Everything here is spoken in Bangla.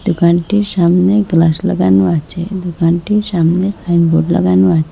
দোকানটির সামনে গ্লাস লাগানো আছে দোকানটির সামনে সাইনবোর্ড লাগানো আছে।